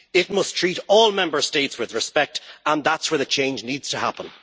It must treat all Member States with respect, and that is where the change needs to happen.